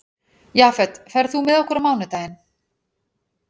Jafet, ferð þú með okkur á mánudaginn?